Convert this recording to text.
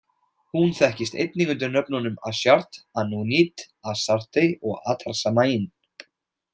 Hún þekkist einnig undir nöfnunum Ashtart, Anunit, Astarte, og Atarsamain.